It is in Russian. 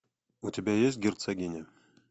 у тебя есть герцогиня